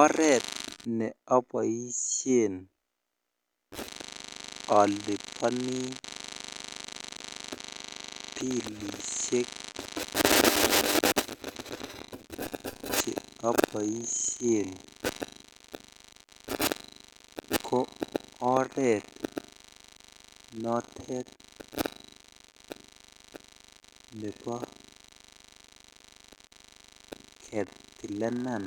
Oret neoboushen oliboni bilishek cheoboshen ko oret notet nebo kitilenan